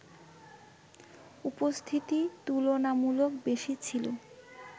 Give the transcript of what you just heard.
উপস্থিতি তুলনামূলক বেশি ছিল